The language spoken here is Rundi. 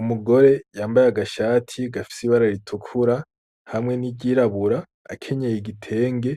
Umugore yambaye agashati gafise ibara ritukura hamwe n'iryirabura, akenyeye igitenge